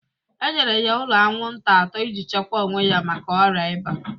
E nyere ya ụlọ anwụnta atọ ị ji chekwa onwe ya maka ọrịa ịba.